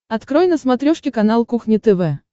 открой на смотрешке канал кухня тв